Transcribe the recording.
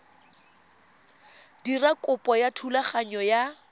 dira kopo ya thulaganyo ya